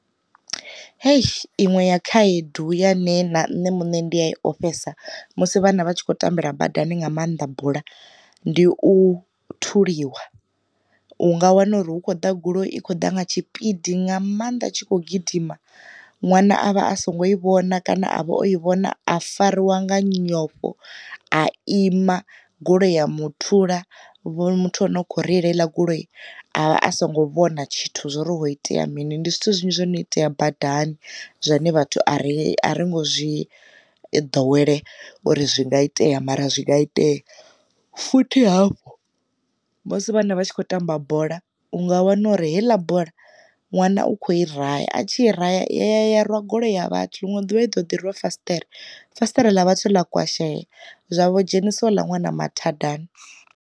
Hei inwe ya khaedu ya nṋe na nṋe muṋe ndi a i ofhesa musi vhana vhatshi kho tambela badani nga maanḓa bola ndi u thuliwa, u nga wana uri hu kho ḓa goloi i khou ḓa nga tshipidi nga maanḓa tshi kho gidima ṅwana a vha a songo i vhona kana a vha o i vhona a fariwa nga nyofho a ima goloi ya muthula vho muthu ane u kho reila heila goloi a songo vhona tshithu zwori ho itea mini. Ndi zwithu zwinzhi zwono itea badani zwine vhathu a ri a ringo zwi i ḓo wele uri zwi nga itea mara zwi nga itea, futhi hafho musi vhana vha tshi khou tamba bola, u nga wana uri heiḽa bola ṅwana u kho i raya, a tshi ra ya ya ya rwa goloi ya vhathu ḽiṅwe ḓuvha i ḓi ḓi rwa fasiṱere fasiṱere ḽa vhathu ḽa kwasheya zwavho dzhenisa houḽa ṅwana mathadani.